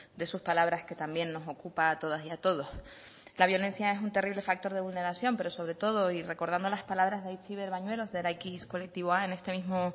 de sus palabras que también nos ocupa a todas y a todos la violencia es un terrible factor de vulneración pero sobre todo y recordando las palabras de aitziber bañuelos de eraikiz kolektiboa en este mismo